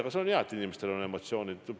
Ja see on hea, et inimestel on emotsioonid.